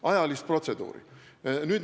– ajalist protseduuri.